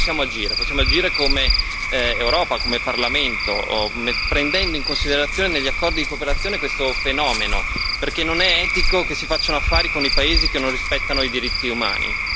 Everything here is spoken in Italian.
Noi possiamo agire come Europa, come Parlamento, prendendo in considerazione negli accordi di cooperazione questo fenomeno, perché non è etico che si facciano affari con i paesi che non rispettano i diritti umani.